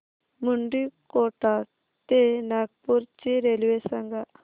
मुंडीकोटा ते नागपूर ची रेल्वे सांगा